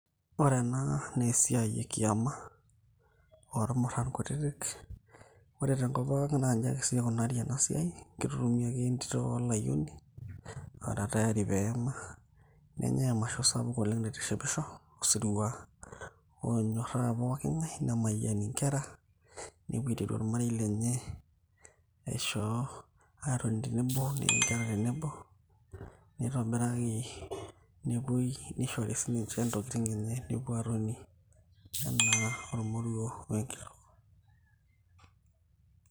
Ore enaa naa esiai ekiama ormurran kutitik, ore tenkop pookin naa inji ake sii ikunari ena siai keitutumi ake entito olayioni oora tayari pee eyama nenyai emasho sapuk oleng' naitishipisho osirua onyorraa pooki ng'ae nemayiani inkerra nepuo aiteru ormarei lenye nepuo aatoni tenebo neu inkerra tenebo. Nishori sininche intokitin enye nepuo aatoni enaa ormoruo o enkitok.